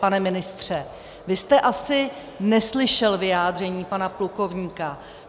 Pane ministře, vy jste asi neslyšel vyjádření pana plukovníka.